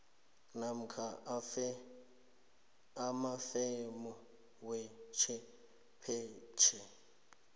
namkha amafemu wechwephetjhe